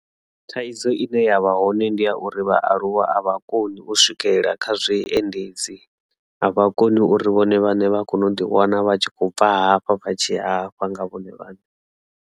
Thaidzo ine yavha hone ndi ya uri vhaaluwa avha koni u swikelela kha zwiendedzi avha koni uri vhone vhane vha kone u ḓi wana vha tshi khou bva hafha vha tshi ya hafha nga vhone vhaṋe.